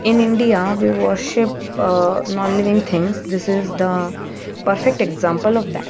in india we worship non living things this is the perfect example of that.